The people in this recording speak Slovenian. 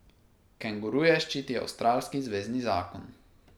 Kenguruje ščiti avstralski zvezni zakon.